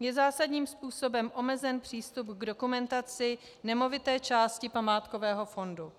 je zásadním způsobem omezen přístup k dokumentaci nemovité části památkového fondu.